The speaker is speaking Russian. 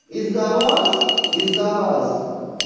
из-за вас из-за вас